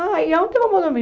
Ah, e onde eu vou dormir?